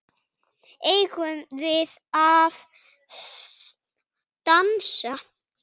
Eigum við að dansa?